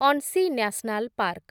Anshi national park